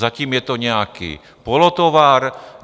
Zatím je to nějaký polotovar.